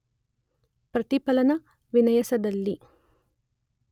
ಪ್ರತಿಫಲನ ವಿನ್ಯಾಸದಲ್ಲಿ